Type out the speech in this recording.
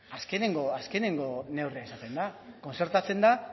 ba azkenengo neurria izatean da kontzertatzen da